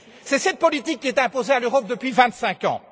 C'est cette politique qui est imposée à l'Europe depuis vingt cinq ans.